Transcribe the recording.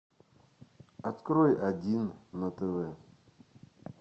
открой один на тв